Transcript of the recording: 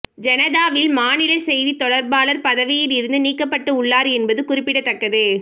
ஜனதாவின் மாநில செய்தித் தொடர்பாளர் பதவியில் இருந்து நீக்கப்பட்டு உள்ளார் என்பது குறிப்பிடத்தக்கது